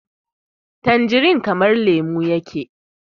tanjirin kamar lemo yake